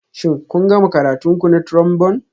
Shin kun gama karatun ku na Trombone?